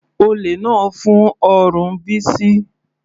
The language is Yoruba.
Olè náà fún ọrùn Bisi.